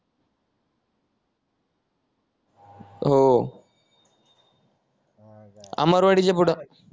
हो अमरवाडीच्या पुढं